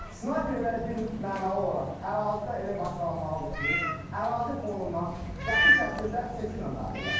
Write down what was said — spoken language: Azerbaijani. Snayperlər birmənalı olaraq ərazidə elə maskalanmalıdır ki, ərazi fonundan qəti şəkildə seçilməməlidirlər.